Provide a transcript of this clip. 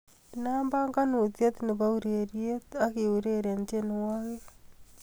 inaam panganutiet nebo ureryet ak uireren tienwogik